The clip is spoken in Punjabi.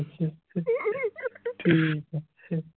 ਠੀਕ ਆ ਫਿਰ